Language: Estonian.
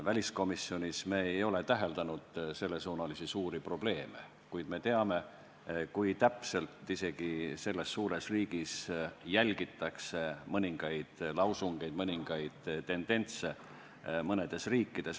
Väliskomisjonis ei ole me sellesuunalisi suuri probleeme täheldanud, kuid me teame, kui täpselt isegi selles suures riigis jälgitakse mõningaid lausungeid, mõningaid tendentse, mis mõnes riigis ilmnevad.